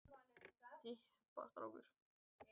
Hvernig er leikmannahópurinn ykkar í ár samsettur?